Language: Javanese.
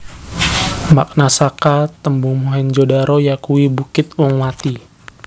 Makna saka tembung Mohenjo daro yakuwi Bukit wong mati